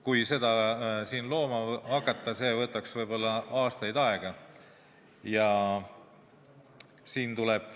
Kui seda siin looma hakata, siis see võtaks võib-olla aastaid.